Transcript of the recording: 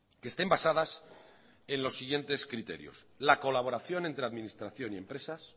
que estén basadas en los siguientes criterios la colaboración entre administración y empresas